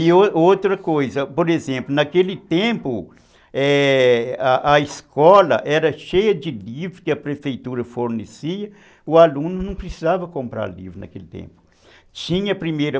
E o o outra coisa, por exemplo, naquele tempo a escola era cheia de livros que a prefeitura fornecia, o aluno não precisava comprar livros naquele tempo, tinha primeira